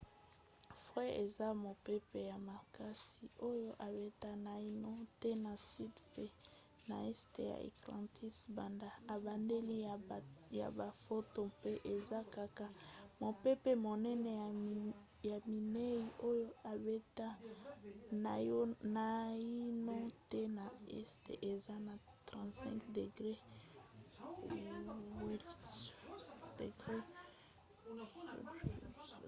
fred eza mopepe ya makasi oyo ebeta naino te na sud mpe na este ya atlantique banda ebandeli ya bafoto mpe eza kaka mopepe monene ya minei oyo ebeta naino te na este eza na 35°w